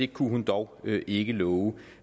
kunne hun dog ikke love